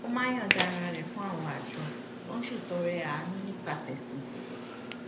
ó máa ń yònda ara rè fún àwọn àjọ tó ń ṣètọrẹàánú nípa tèsìn